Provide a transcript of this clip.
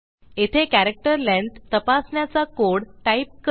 येथे character length तपासण्याचा code type करू